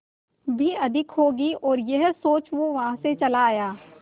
भी अधिक होगी और यह सोच वो वहां से चला आया